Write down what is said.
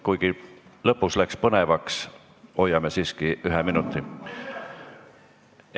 Kuigi lõpus läks põnevaks, hoiame siiski ühest minutist kinni.